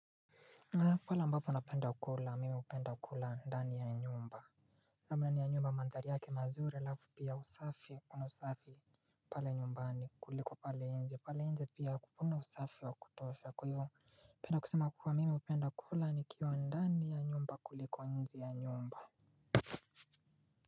Pale ambapo napenda kula mi hupenda kula ndani ya nyumba namna ya nyumba mandhari yake mazuri alafu pia usafi kuna usafi pale nyumbani kuliko pale nje pale nje pia hakuna usafi wa kutosha kwa hivyo napenda kusema kuwa mimi hupenda kula nikiwa ndani ya nyumba kuliko nje ya nyumba.